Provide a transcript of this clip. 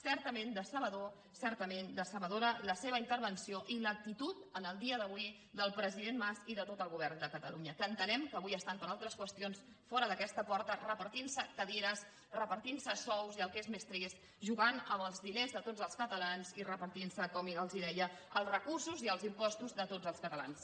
certament decebedor certament decebedora la seva intervenció i l’actitud en el dia d’avui del president mas i de tot el govern de catalunya que entenem que avui estan per altres qüestions fora d’aquesta porta repartint se cadires repartint se sous i el que és més trist jugant amb els diners de tots els catalans i repartint se com els deia els recursos i els impostos de tots els catalans